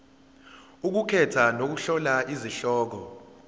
ukukhetha nokuhlola izihloko